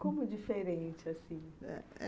Como diferente, assim?